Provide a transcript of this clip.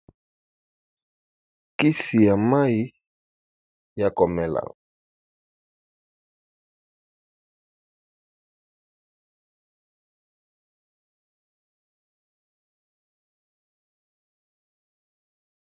Kisi ya mai ya komela.